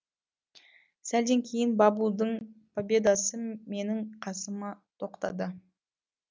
сәлден кейін бабудың победасы менің қасыма тоқтады